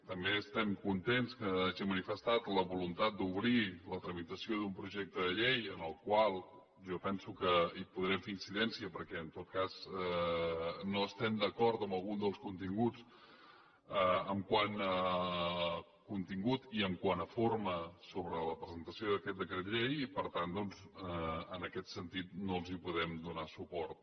també estem contents que hagi manifestat la voluntat d’obrir la tramitació d’un projecte de llei en el qual jo penso que podrem fer incidència perquè en tot cas no estem d’acord amb algun dels continguts quant a contingut i quant a forma sobre la presentació d’aquest decret llei i per tant doncs en aquest sentit no els podem donar suport